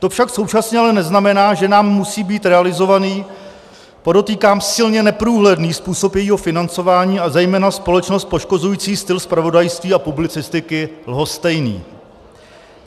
To však současně ale neznamená, že nám musí být realizovaný, podotýkám silně neprůhledný, způsob jejího financování a zejména společnost poškozující styl zpravodajství a publicistiky lhostejný.